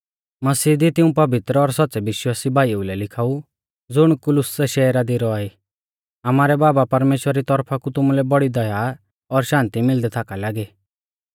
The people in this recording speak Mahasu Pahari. मसीह दी तिऊं पवित्र और सौच़्च़ै विश्वासी भाईऊ लै लिखाऊ ज़ुण कुलुस्‍सै शैहरा दी रौआ ई आमारै बाबा परमेश्‍वरा री तौरफा कु तुमुलै बौड़ी दया और शान्ति मिलदी थाका लागी